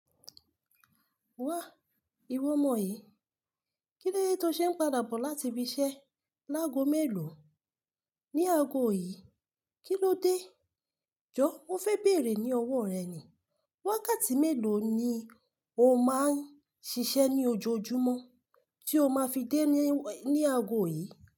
Wa, ìwọ omọ yí. Kílódé tó ṣe ń padà bọ̀ láti ibi iṣẹ́ láago mélòó ní ago yìí? Kí ló dé? Jọ, mo fẹ́ bèrè ní ọwọ́ rẹ ni. Wákàtí mélòó ni o máa ń ṣiṣẹ́ ní ojoojúmọ́ tí o máa fi dé ní ago yìí.